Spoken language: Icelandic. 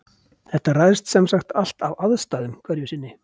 Þetta ræðst semsagt allt af aðstæðum hverju sinni.